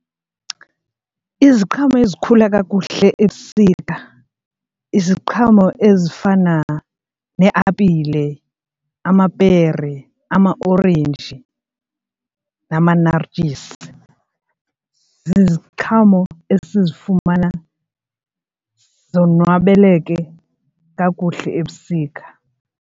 Iziqhamo ezikhula kakuhle ebusika iziqhamo ezifana neeapile, amapere, amaorenji namanartyisi, ziziqhamo esizifumana zonwabeleke kakuhle ebusika.